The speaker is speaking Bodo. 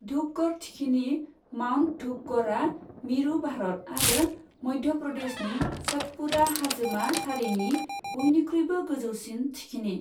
धूपगढ़ थिखिनि, माउन्ट धूपगढ़आ मिरु भारत आरो मध्य प्रदेशनि सतपुड़ा हाजोमा सारिनि बयनिख्रुइबो गोजौसिन थिखिनि।